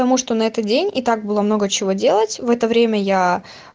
потому что на этот день и так было много чего делать в это время я